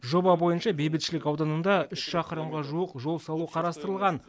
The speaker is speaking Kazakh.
жоба бойынша бейбітшілік ауданында үш шақырымға жуық жол салу қарастырылған